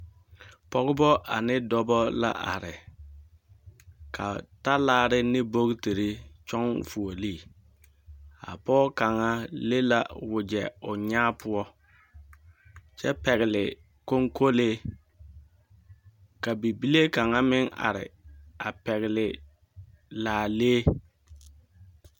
Pɔgebɔ ane dɔbɔ la are. Ka talaare ne bogtiri kyɔŋ fuolii. Ka pɔge kaŋa le wogyɛ o nyaa poɔ, kyɛ pɛgele koŋkolee. Ka bibile kaŋa meŋ are, a pɛgele laalee.